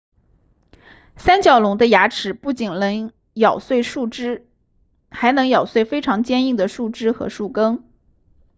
三角龙的牙齿不仅能咬碎树叶还能咬碎非常坚硬的树枝和树根